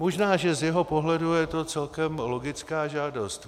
Možná že z jeho pohledu je to celkem logická žádost.